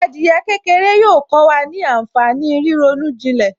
Adìyẹ kékeré yóò kó wa ní ànfàní ríronú ìjìnlẹ̀